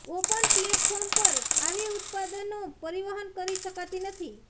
open platform પર આવી ઉત્પાદનો પરિવહન કરી શકાતી નથી